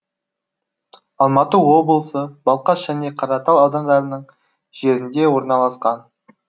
алматы облысы балқаш және қаратал аудандарының жерінде орналасқан